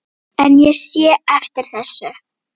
En sé ég eftir þessu?